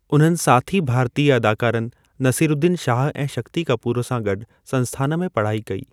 उन्हनि साथी भारतीय अदाकारनि नसीरुद्दीन शाह ऐं शक्ति कपूर सां गॾु संस्थानु में पढ़ाई कई।